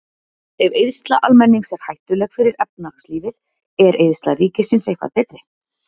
Ef eyðsla almennings er hættuleg fyrir efnahagslífið, er eyðsla ríkisins eitthvað betri?